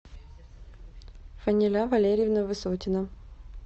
фаниля валерьевна высотина